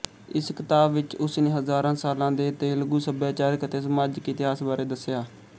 ਇਸ ਕਿਤਾਬ ਵਿਚ ਉਸਨੇ ਹਜ਼ਾਰਾਂ ਸਾਲਾਂ ਦੇ ਤੇਲਗੂ ਸਭਿਆਚਾਰਕ ਅਤੇ ਸਮਾਜਿਕ ਇਤਿਹਾਸ ਬਾਰੇ ਦੱਸਿਆ